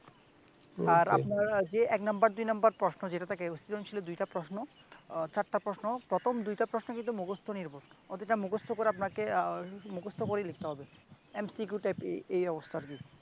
আর আপনার যে এক নাম্বার দুই নাম্বার প্রশ্ন যেইটা থেকে সৃজনশীলের দুইটা প্রশ্ন আহ চারটা প্রশ্ন প্রথম দুইটা প্রশ্ন কিন্তু মুখস্ত নির্ভর। ওই দুইটা মুখস্ত করে আপনাকে আহ মুখস্ত করেই লিখতে হবে MCQ type এ ~এই অবস্থা আরকি